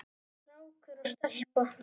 Strákur og stelpa.